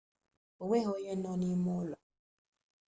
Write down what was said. onweghi onye nọbụrụ n'ime ulo